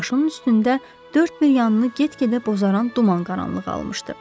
Başının üstündə dörd bir yanını get-gedə bozaran duman qaranlığı almışdı.